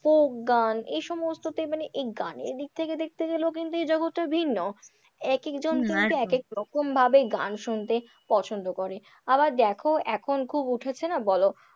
Folk গান এই সমস্ততে মানে এই গানের দিক থেকে দেখতে গেলেও কিন্তু এই জগৎ টা ভিন্ন, এক একজন কিন্তু এক এক রকম ভাবে গান শুনতে পছন্দ করে। আবার দেখো এখন খুব উঠেছে না বলো,